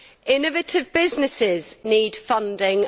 innovative businesses need funding